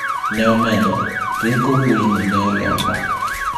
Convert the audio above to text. Neomedo:"Rieko wuoyi ni ne olomba."